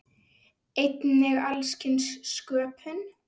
Einnig alls kyns sköpun.